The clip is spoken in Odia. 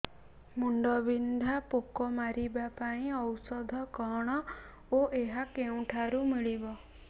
କାଣ୍ଡବିନ୍ଧା ପୋକ ମାରିବା ପାଇଁ ଔଷଧ କଣ ଓ ଏହା କେଉଁଠାରୁ ମିଳିବ